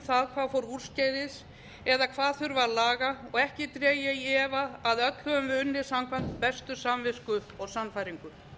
það hvað fór úrskeiðis eða hvað þurfi að laga og ekki dreg ég í efa að öll höfum við unnið samkvæmt bestu samvisku og sannfæringu